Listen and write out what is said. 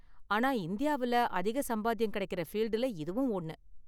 ஆனா இந்தியாவுல அதிக சம்பாத்தியம் கிடைக்குற ஃபீல்டுல இதுவும் ஒண்ணு.